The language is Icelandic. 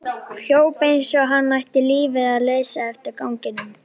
Hljóp eins og hann ætti lífið að leysa eftir ganginum.